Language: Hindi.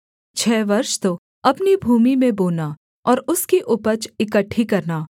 छः वर्ष तो अपनी भूमि में बोना और उसकी उपज इकट्ठी करना